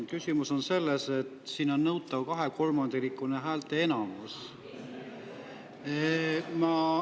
Küsimus on selles, et siin on nõutav kahekolmandikuline häälteenamus.